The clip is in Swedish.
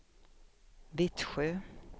Vittsjö